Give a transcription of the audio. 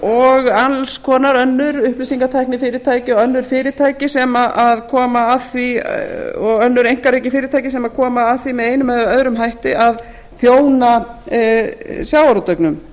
og alls konar önnur upplýsingatækni fyrirtækja og önnur fyrirtæki sem koma að því og önnur einkarekin fyrirtæki sem koma að því með einum eða öðrum hætti að þjóna sjávarútveginum